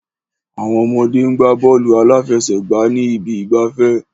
Àwọn ọmọdé ń gbá bọ́ọ̀lù aláfẹsẹ̀gbá ní ibi ìgbafẹ́.